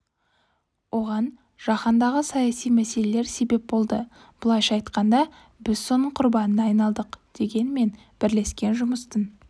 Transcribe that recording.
оған жаһандағы саяси мәселелер себеп болды былайша айтқанда біз соның құрбанына айналдық дегенмен бірлескен жұмыстың